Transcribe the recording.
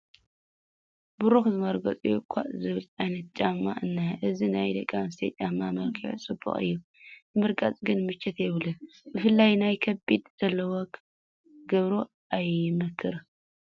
በሪኽ ዝመርገፂኡ ኮዮ ዝበሃል ዓይነት ጫማ እኒሀ፡፡ እዚ ናይ ደቂ ኣንስትዮ ጫማ መልክዑ ፅቡቕ እዩ፡፡ ንምርጋፁ ግን ምቾት የብሉን፡፡ ብፍላይ ናይ ከብዲ ዘለወን ክገብርኦ ኣይምከርን፡፡